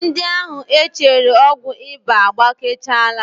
Ndị ahụ e chere ọgwụ ịba agbakechaala